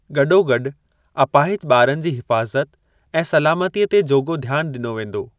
गॾोगॾु अपाहिज ॿारनि जी हिफ़ाज़त ऐं सलमातीअ ते जोॻो ध्यान ॾिनो वेंदो।